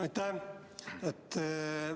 Aitäh!